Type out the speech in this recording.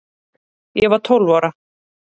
Ég var tólf ára